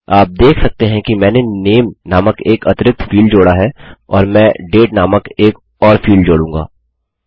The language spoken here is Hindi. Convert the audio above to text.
आप देख सकते हैंकि मैंने नामे नामक एक अतिरिक्त फील्ड जोड़ा है और मैं डेट नामक एक और फील्ड जोडूँगा